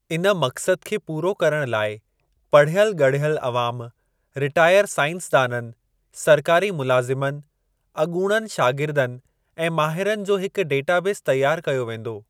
इन मक़्सद खे पूरो करणु लाइ पढ़ियल ॻढ़ियल अवाम, रिटायर साइंसदाननि, सरकारी मुलाज़िमनि, अॻूणनि शागिर्दनि ऐं माहिरनि जो हिकु डेटाबेस तैयार कयो वेंदो ।